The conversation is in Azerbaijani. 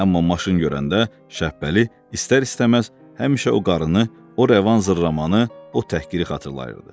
Amma maşın görəndə Şəbpəli istər-istəməz həmişə o qarnı, o rəvan zırramanı, o təhqiri xatırlayırdı.